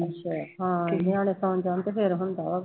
ਅੱਛਾ ਹਾਂ ਨਿਆਣੇ ਸੌ ਜਾਣ ਤੇ ਫਿਰ ਹੁੰਦਾ ਵਾ